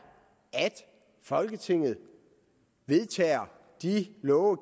at folketinget vedtager de love og